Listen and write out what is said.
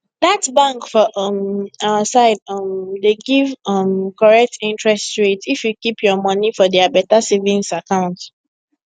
that bank for um our side um dey give um correct interest rate if you keep your money for their better savings account